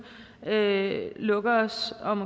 lukker sig om